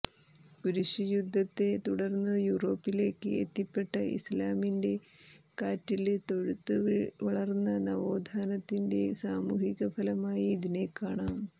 കുരിശുയുദ്ധത്തെ തുടര്ന്നു യൂറോപ്പിലേക്ക് എത്തിപ്പെട്ട ഇസ്ലാമിന്റെ കാറ്റില് തെഴുത്തു വളര്ന്ന നവോത്ഥാനത്തിന്റെ സാമൂഹിക ഫലമായി ഇതിനെക്കാണാം